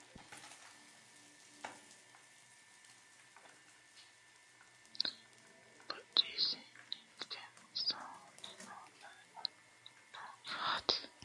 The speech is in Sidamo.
looso loonsanniri giddo mittu sagaletenna bunu mineeti yaate koyeeno bunu jawa siinna albaanni worre wiliileno noota badhesiinni hige masooweno noota anfanni yaate